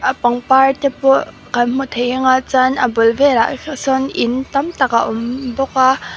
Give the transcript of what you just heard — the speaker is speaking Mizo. pangpar te pawh kan hmu thei anga chuan a bul velah sawn in tam tak a awm bawk a.